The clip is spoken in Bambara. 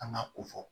An ka ko fɔ